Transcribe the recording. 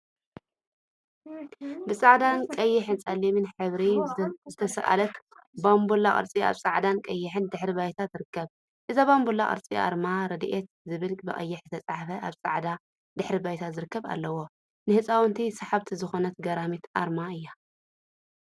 ብፃዕዳ፣ ቀይሕን ፀሊምን ሕብሪ ዝተስአለት ባምቡላ ቅርፂ አብ ፃዕዳን ቀይሕን ድሕረ ባይታ ትርከብ፡፡ እዛ ባምቡላ ቅርፂ አርማ ረዲት ዝብል ብቀይሕ ዝተፀሓፈ አብ ፃዕዳ ድሕረ ባይታ ዝርከብ አለዋ፡፡ ንህፃውንቲ ሰሓቢት ዝኮነት ገራሚት አርማ እያ፡፡